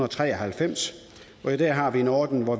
tre og halvfems i dag har vi en ordning hvor